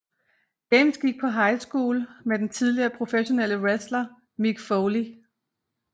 James gik på high school med den tidligere professionelle wrestler Mick Foley